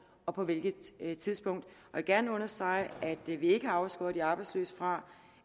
og på hvilket tidspunkt vil gerne understrege at vi ikke har afskåret de arbejdsløse fra